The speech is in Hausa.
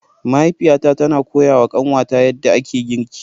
Mahaifiyata tana koyawa kanwata yadda ake girki.